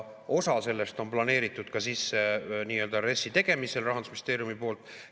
Osa sellest on planeeritud sisse nii-öelda RES‑i tegemisel Rahandusministeeriumi poolt.